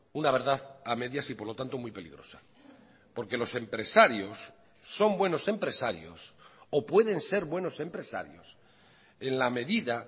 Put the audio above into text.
una verdad a medias y por lo tanto muy peligrosa porque los empresarios son buenos empresarios o pueden ser buenos empresarios en la medida